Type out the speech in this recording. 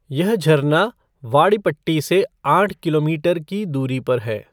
यह झरना वाडिपट्टी से आठ किलोमीटर की दूरी पर है।